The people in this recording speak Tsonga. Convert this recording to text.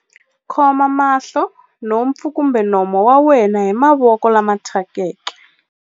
Khoma mahlo, nhompfu kumbe nomo wa wena hi mavoko lama thyakeke.